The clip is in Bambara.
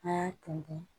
A y'a ton